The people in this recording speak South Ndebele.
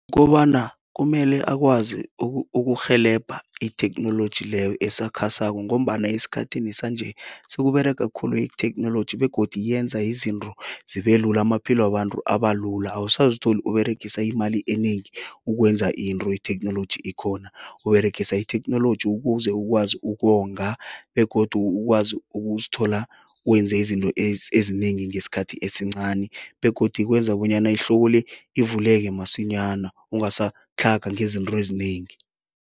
Kobana kumele akwazi ukurhelebha itheknoloji leyo esakhasako ngombana esikhathini sanje, sekUberega khulu itheknoloji begodu yenza izinto zibe lula, amaphilo wabantu aba lula. Awusazitholi Uberegisa imali enengi ukwenza into itheknoloji ikhona, Uberegisa itheknoloji ukuze ukwazi ukonga begodu ukwazi ukuzithola wenze izinto ezinengi ngesikhathi esincani begodu kwenza bonyana ihloko le ivuleke masinyana, ungasatlhaga ngezinto ezinengi.